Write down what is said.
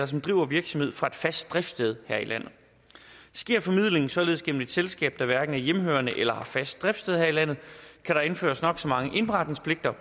som driver virksomhed fra et fast driftssted her i landet sker formidlingen således gennem et selskab der hverken er hjemmehørende eller har fast driftssted her i landet kan der anføres nok så mange indberetningspligter